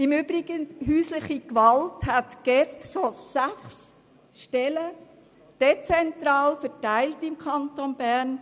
Im Übrigen führt die GEF bereits sechs Stellen für häusliche Gewalt, dezentral verteilt im Kanton Bern.